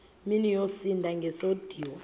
mini yosinda ngesisodwa